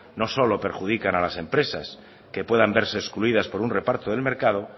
no solo perjudican a las empresas que puedan verse excluidas por un reparto del mercado